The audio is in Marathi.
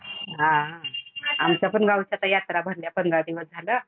आ, आमच्या पण गावाची आता यात्राभारलीया आता पंधरा दिवस झालं.